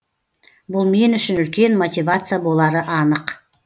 бұл мен үшін үлкен мотивация болары анық